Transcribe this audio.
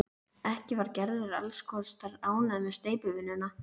Ekki var Gerður alls kostar ánægð með steypuvinnuna.